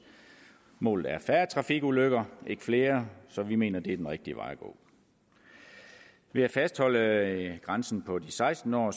målet er færre trafikulykker ikke flere så vi mener at det er den rigtige vej at gå ved at fastholde grænsen på de seksten år